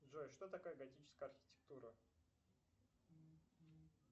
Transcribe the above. джой что такое готическая архитектура